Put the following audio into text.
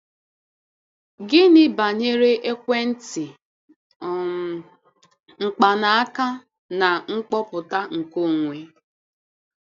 Gịnị banyere ekwentị um mkpanaaka na kọmputa nkeonwe?